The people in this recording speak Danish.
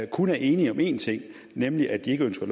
kun er enige om én ting nemlig at de ikke ønsker